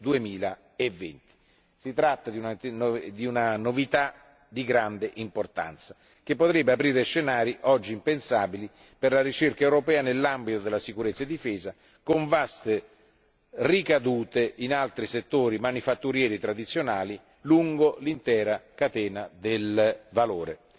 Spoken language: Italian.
2020. Si tratta di una novità di grande importanza, che potrebbe aprire scenari oggi impensabili per la ricerca europea nell'ambito della sicurezza e della difesa, con vaste ricadute in altri settori manifatturieri tradizionali lungo l'intera catena del valore.